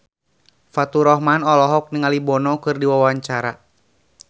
Faturrahman olohok ningali Bono keur diwawancara